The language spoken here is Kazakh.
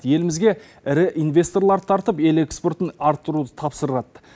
елімізге ірі инвесторларды тартып ел экспортын арттыруды тапсырады